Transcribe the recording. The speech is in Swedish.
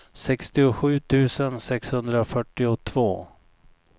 sextiosju tusen sexhundrafyrtiotvå